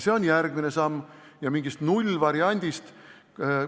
See on järgmine samm ja mingist nullvariandist juttu ei ole.